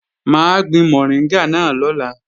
Mà á gbin mọ̀ríngà náà lọ́la